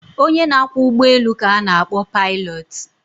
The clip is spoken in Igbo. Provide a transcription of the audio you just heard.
Onye na-akwọ ụgbọelu ka na-akpọ paịlọtụ.